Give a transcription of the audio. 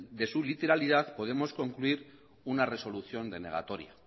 de su literalidad podemos concluir una resolución denegatoria